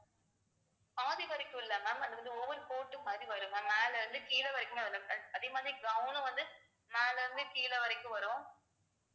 பாதி வரைக்கும் இல்லை ma'am அது வந்து over coat மாதிரி வரும் ma'am மேலே இருந்து கீழே வரைக்கும் அதே மாதிரி gown உ வந்து மேல இருந்து கீழ வரைக்கும் வரும்